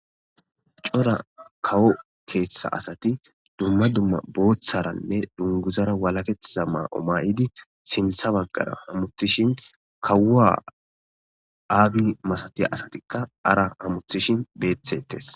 cora kawo keeththa asati dumma dumma booththaranne dunguzara walaketheha maa7o maa7idi sintha baggara hamutishin kawua aabi masatiya asatikka ara hamutishin beethetes